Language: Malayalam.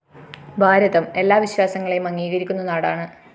ഭാരതം എല്ലാ വിശ്വാസങ്ങളെയും അംഗീകരിക്കുന്ന നാടാണ്